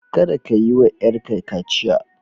Kada ka yiwa yarka kaciya.